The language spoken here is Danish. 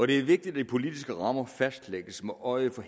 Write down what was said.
det er vigtigt at de politiske rammer fastlægges med øje for